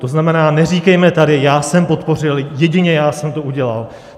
To znamená, neříkejme tady "já jsem podpořil, jedině já jsem to udělal".